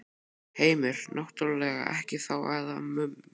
Heimir: Náttúrlega ekkert þá amað að mönnum?